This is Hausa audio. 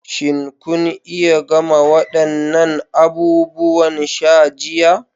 Shin kun iya gama waɗannan abubuwan sha jiya?